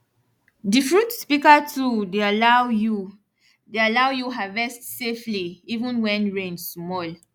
di fruit picker tool dey allow you dey allow you harvest safely even wen rain small